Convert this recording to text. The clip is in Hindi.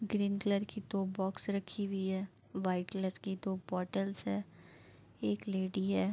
ग्रीन कलर की दो बॉक्स रखी हुवी है। वाइट कलर की दो बॉटल्स हैं। एक लेडी है।